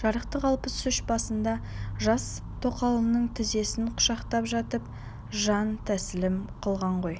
жарықтық алпыс үш жасында жас тоқалының тізесін құшақтап жатып жантәсілім қылған ғой